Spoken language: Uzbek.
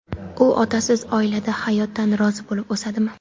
U otasiz oilada hayotdan rozi bo‘lib o‘sadimi?